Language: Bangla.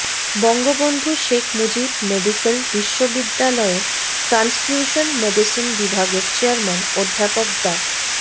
বঙ্গবন্ধু শেখ মুজিব মেডিক্যাল বিশ্ববিদ্যালয়ের ট্রান্সফিউশন মেডিসিন বিভাগের চেয়ারম্যান অধ্যাপক ডা